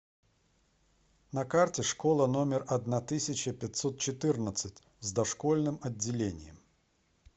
на карте школа номер одна тысяча пятьсот четырнадцать с дошкольным отделением